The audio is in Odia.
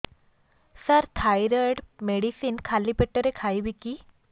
ସାର ଥାଇରଏଡ଼ ମେଡିସିନ ଖାଲି ପେଟରେ ଖାଇବି କି